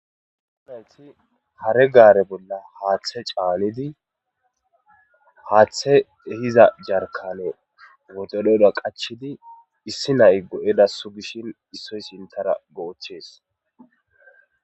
umalti hare gaare bolla haaththe caalidi haaththe ehiza jarkane wotoleda qachidi issi nay go7edassu gishin issoy sintara goochees